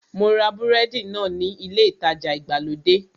Mo ra búrẹ́dì náà ní ilé ìtajà ìgbàlódé